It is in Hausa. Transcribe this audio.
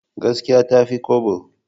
Gaskiya ta fi kwabo.